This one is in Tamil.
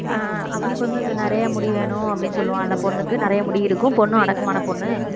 ஆஹ் அவனுக்கு வந்து இந்த நிறைய முடி வேணும் அப்படின்னு சொல்லுவான்ல பொண்ணுக்கு நிறைய முடி இருக்கும் பொண்ணு அடக்கமான பொண்ணு